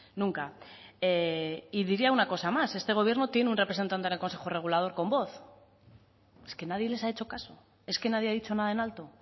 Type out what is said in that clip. nunca diría una cosa más este gobierno tiene un representante en el consejo regulador con voz es que nadie les ha hecho caso es que nadie ha dicho nada en alto